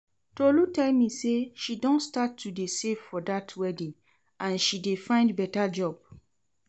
Tolu tell me say she don start to dey save for dat wedding and she dey find better job